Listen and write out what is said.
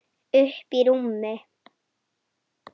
Uppí rúmi.